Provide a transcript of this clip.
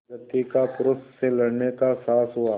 प्रकृति का पुरुष से लड़ने का साहस हुआ